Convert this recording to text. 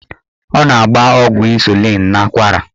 Ọ na-agba ọgwụ ịnsulịn n'akwara.